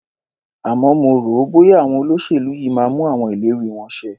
Àmọ́ mo rò ó, bọ́ya àwọn olóṣèlú yìí máa mú àwọn ìlérí wọn ṣẹ.